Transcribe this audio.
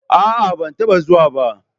A'a, ban taba zuwa ba.